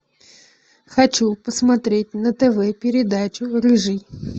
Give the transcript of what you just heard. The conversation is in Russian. хочу посмотреть на тв передачу рыжий